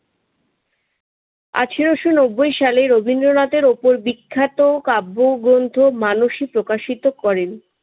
আঠারোশ রবীন্দ্রনাথের উপর বিখ্যাত কাব্যগ্রন্থ মানসী প্রকাশিত করেন।